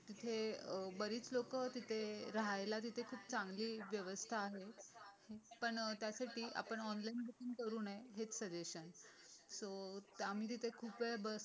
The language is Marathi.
तिथे बरेच लोक तिथे राहायला खूप चांगली व्यवस्था आहे. पण त्याच्यासाठी आपन ऑनलाइन बुकिंग करून आहे हेच सजेशन सो आम्ही तिथे खूप वेळा बस